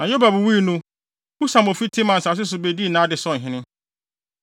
Na Yobab wui no, Husam a ofi Teman asase so bedii nʼade sɛ ɔhene.